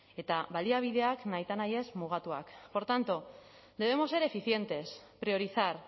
eta baliabideak nahitaez mugatuak por tanto debemos ser eficientes priorizar